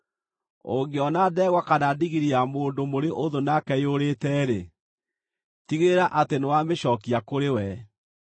“Ũngĩona ndegwa kana ndigiri ya mũndũ mũrĩ ũthũ nake yũrĩte-rĩ, tigĩrĩra atĩ nĩwamĩcookia kũrĩ we.